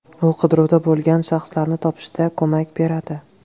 U qidiruvda bo‘lgan shaxslarni topishda ko‘mak beradi.